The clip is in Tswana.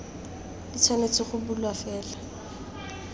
di tshwanetse go bulwa fela